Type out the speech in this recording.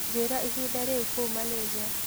njĩĩra ĩhĩnda riu kũũ malaysia